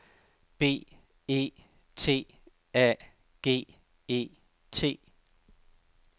B E T A G E T